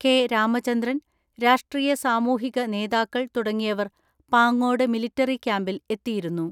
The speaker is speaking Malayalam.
കെ. രാമചന്ദ്രൻ, രാഷ്ട്രീയ സാമൂഹിക നേതാക്കൾ തുടങ്ങിയവർ പാങ്ങോട് മിലിറ്ററി ക്യാമ്പിൽ എത്തിയിരുന്നു.